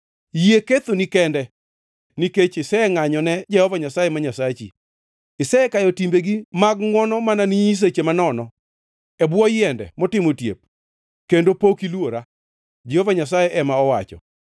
Yie kethoni kende nikech isengʼanyone Jehova Nyasaye ma Nyasachi, isekayo timbegi mag ngʼwono mana ne nyiseche manono e bwo yiende motimo otiep, kendo pod ok iluora,’ ” Jehova Nyasaye ema owacho.